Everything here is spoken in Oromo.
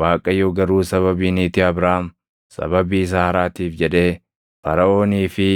Waaqayyo garuu sababii niitii Abraam, sababii Saaraatiif jedhee Faraʼoonii fi